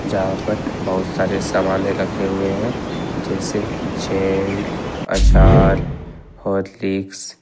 यहां पर बहुत सारे सामाने रखे हुए हैं जैसे जैम अचार हॉर्लिक्स ।